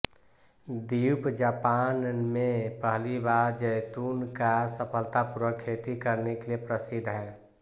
द्वीप जापान में पहली बार जैतून का सफलतापूर्वक खेती करने के लिए प्रसिद्ध है